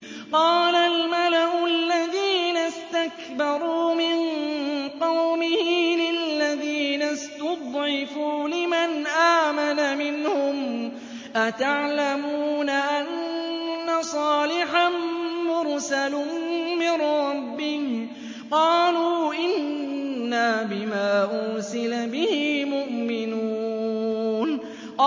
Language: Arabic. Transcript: قَالَ الْمَلَأُ الَّذِينَ اسْتَكْبَرُوا مِن قَوْمِهِ لِلَّذِينَ اسْتُضْعِفُوا لِمَنْ آمَنَ مِنْهُمْ أَتَعْلَمُونَ أَنَّ صَالِحًا مُّرْسَلٌ مِّن رَّبِّهِ ۚ قَالُوا إِنَّا بِمَا أُرْسِلَ بِهِ مُؤْمِنُونَ